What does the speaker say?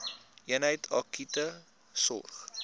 eenheid akute sorg